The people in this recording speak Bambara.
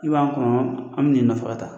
I b'a n kɔnɔ an bɛ n'i nɔfɛ ka taa